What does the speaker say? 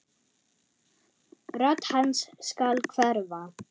Rödd hans skal hverfa.